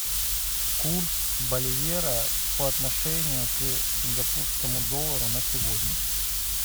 курс боливера по отношению к сингапурскому доллару на сегодня